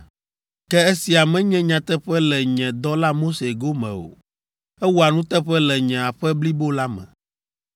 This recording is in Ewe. Ke esia menye nyateƒe le nye dɔla Mose gome o; ewɔa nuteƒe le nye aƒe blibo la me.